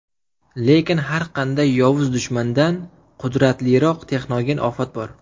Lekin har qanday yovuz dushmandan qudratliroq texnogen ofat bor.